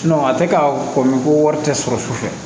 a tɛ ka kɔn ko wari tɛ sɔrɔ su fɛ